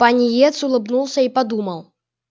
пониетс улыбнулся и подумал